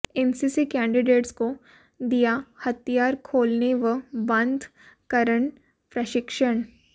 NCC cadets को दिया हथियार खोलने व बंद करन प्रशिक्षण